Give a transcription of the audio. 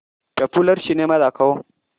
popular cinema दाखव